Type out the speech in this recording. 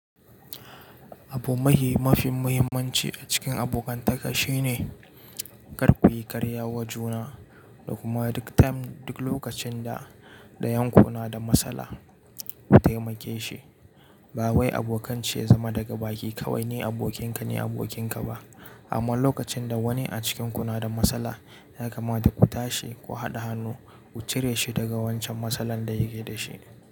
Abu mafi muhimmanci a cikin abokantaka shi ne kar ku yi karya wa juna da kuma duk lokacin da ɗayan ku na da matsala ku taimake shi. Ba wai abokanci ya zama daga baki kawai ni abokinka-ni abokin ka ba, amma lokacin da wani a cikin ku na da matsala ya kamata ku tashi ku haɗa hannu ku cire shi daga wancan matsalar da yake da shi.